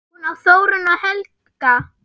Hún á Þórunni og Helga.